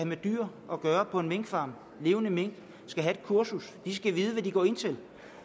med dyr at gøre på en minkfarm levende mink skal have et kursus de skal vide hvad de går ind til